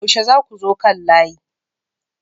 yaushe zakuzo kan layi?